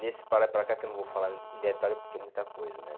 Nesse para lá e para cá que eu não vou falar em detalhe porque é muita coisa, né?